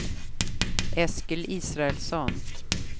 Eskil Israelsson